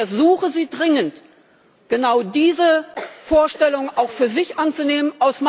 Ich ersuche Sie dringend, genau diese Vorstellung auch für sich anzunehmen.